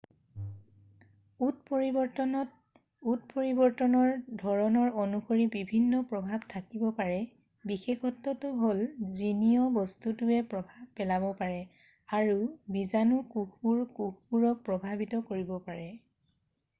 উৎপৰিবৰ্তনত উৎপৰিবৰ্তনৰ ধৰণৰ অনুসৰি বিভিন্ন প্ৰভাৱ থাকিব পাৰে বিশেষত্বটো হ'ল জীনীয় বস্তুটোৱে প্ৰভাৱ পেলাব পাৰে আৰু বিজানু কোষবোৰে কোষবোৰক প্ৰভাৱিত কৰিব পাৰে